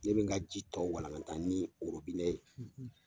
Ne bɛ n ka ji tɔ walankatan ni orobinɛ ye.